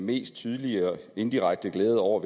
mest tydelige og indirekte glæde over